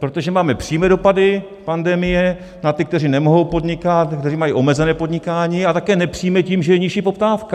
Protože máme přímé dopady pandemie na ty, kteří nemohou podnikat, kteří mají omezené podnikání, a také nepřímé tím, že je nižší poptávka.